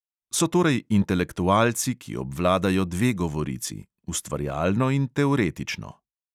So torej intelektualci, ki obvladajo dve govorici: ustvarjalno in teoretično.